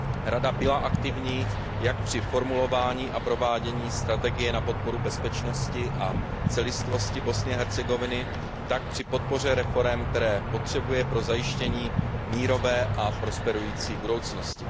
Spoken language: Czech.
Rada byla aktivní jak při formulování a provádění strategie na podporu bezpečnosti a celistvosti Bosny a Hercegoviny, tak při podpoře reforem, které potřebuje pro zajištění mírové a prosperující budoucnosti.